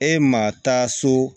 E ma taa so